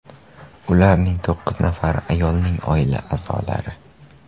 Ularning to‘qqiz nafari ayolning oila a’zolari .